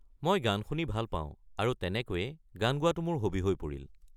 মই গান শুনি ভাল পাওঁ আৰু তেনেকৈয়ে গান গোৱাটো মোৰ হবি হৈ পৰিল।